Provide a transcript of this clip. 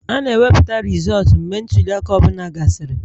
A na-ewepụta rizọọtu mgbe ntuli aka ọ bụla gasịrị